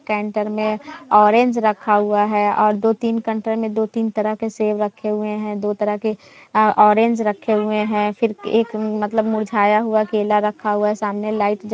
canter मे orange रखे हुआ है और दो तीन कैंटर मे दो तीन तरह के सेब रखे हुए है दो तरह के ऑरेंज रखे हुए है फिर एक मतलब मुरझाया हुआ केला रखा हुआ है सामने एक लाइट --